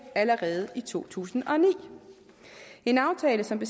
allerede i to tusind og ni en aftale som